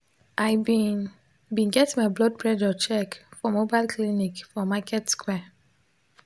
i been been get my blood pressure check for mobile clinic for market square.